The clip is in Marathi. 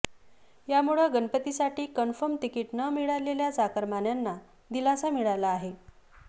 यामुळे गणपतीसाठी कन्फर्म तिकीट न मिळालेल्या चाकरमान्यांना दिलासा मिळाला आहे